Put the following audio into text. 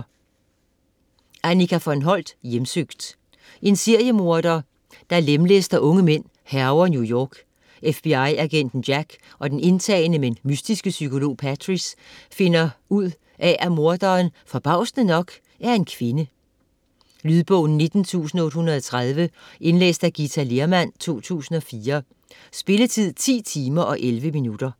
Holdt, Annika von: Hjemsøgt En seriemorder, der lemlæster unge mænd, hærger New York. FBI-agenten Jack og den indtagende, men mystiske psykolog Patrice finder ud af, at morderen - forbavsende nok - er en kvinde. Lydbog 19830 Indlæst af Githa Lehrmann, 2004. Spilletid: 10 timer, 11 minutter.